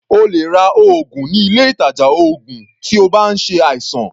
O lè ra oògùn ní ilé ìtàjà oògùn tí o bá ń ṣe àìsàn.